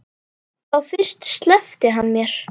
Þá fyrst sleppti hann mér.